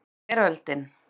Þetta var veröldin.